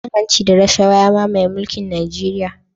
Cin hanci da rashawa ya mamaye mulkin Nijeriya